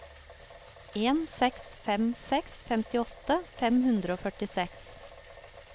en seks fem seks femtiåtte fem hundre og førtiseks